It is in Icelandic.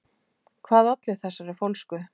Hvað olli þessari fólsku?